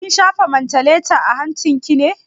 Kin shafa mantaleta a hancin ki ne?